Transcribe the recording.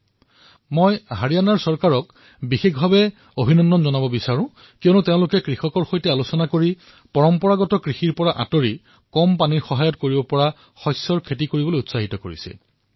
মই বিশেষভাৱে হাৰিয়ানাৰ চৰকাৰক ধন্যবাদ জ্ঞাপন কৰিবলৈ বিচাৰিছো কিয়নো তেওঁলোকে কৃষকসকলৰ সৈতে যোগাযোগ স্থাপন কৰি অধিক পানী ব্যৱহাৰ হোৱা পৰম্পৰাগত কৃষিসমূহ নকৰি এনে ধৰণৰ কৃষিৰ বাবে উদগনি জনাইছে